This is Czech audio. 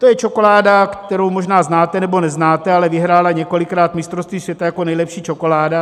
To je čokoláda, kterou možná znáte nebo neznáte, ale vyhrála několikrát mistrovství světa jako nejlepší čokoláda.